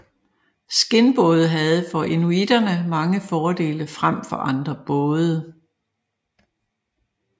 Skindbåde havde for inuiterne mange fordele frem for andre både